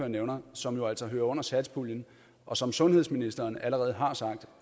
nævner som jo altså hører under satspuljen og som sundhedsministeren allerede har sagt